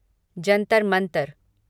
Jantar Mantar